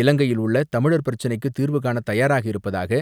இலங்கையில் உள்ள தமிழர் பிரச்னைக்குத் தீர்வு காண தயாராக இருப்பதாக